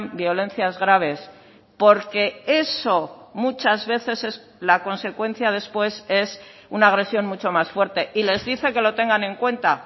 violencias graves porque eso muchas veces es la consecuencia después es una agresión mucho más fuerte y les dice que lo tengan en cuenta